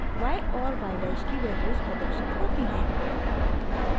y और y dash की values प्रदर्शित होती हैं